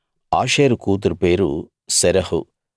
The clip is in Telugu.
ఆషేరు కూతురు పేరు శెరహు